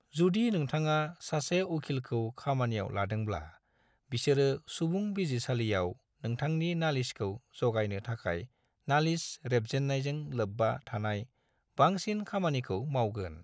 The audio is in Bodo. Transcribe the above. जुदि नोंथाङा सासे उखिलखौ खामानियाव लादोंब्ला, बिसोरो सुबुं बिजिरसालियाव नोंथांनि नालिसखौ जागायनो थाखाय नालिस रेबजेन्नायजों लोब्बा थानाय बांसिन खामानिखौ मावगोन।